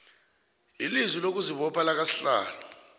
ilizwi lokuzibopha lakasihlalo